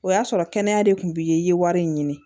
O y'a sɔrɔ kɛnɛya de tun b'i ye i ye wari in ɲini